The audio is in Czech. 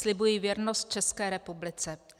Slibuji věrnost České republice.